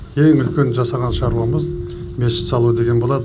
ең үлкен жасаған шаруамыз мешіт салу деген болады